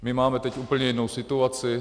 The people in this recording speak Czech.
My teď máme úplně jinou situaci.